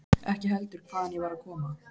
Ekki heldur hvaðan ég var að koma.